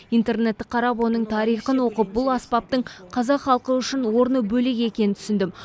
интернетті қарап оның тарихын оқып бұл аспаптың қазақ халқы үшін орны бөлек екенін түсіндім